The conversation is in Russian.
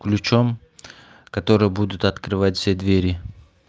ключом которые будут открывать все двери